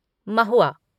महुआ